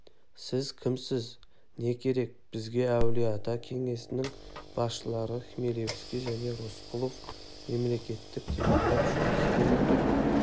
сіз кімсіз не керек біз әулие-ата кеңесінің басшылары хмелевский және рысқұлов мемлекеттік телеграф жұмыс істемей тұр